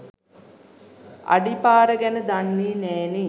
අඩි පාර ගැන දන්නේ නෑනේ.